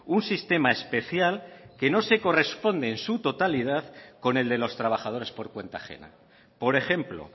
un sistema especial que no se corresponde en su totalidad con el de los trabajadores por cuenta ajena por ejemplo